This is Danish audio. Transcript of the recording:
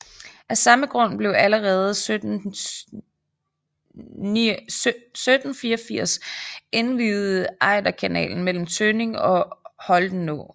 Af samme grund blev allerede 1784 indviet Ejderkanalen mellem Tønning og Holtenå